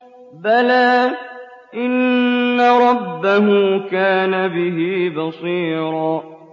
بَلَىٰ إِنَّ رَبَّهُ كَانَ بِهِ بَصِيرًا